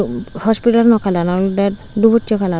hospitalo kalar bek duboche kalaror.